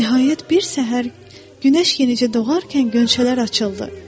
Nəhayət, bir səhər günəş yenicə doğarkən qönçələr açıldı.